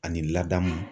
Ani laadamu